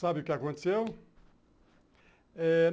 Sabe o que aconteceu? Eh